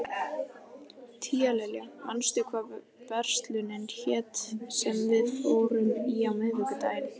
Tíalilja, manstu hvað verslunin hét sem við fórum í á miðvikudaginn?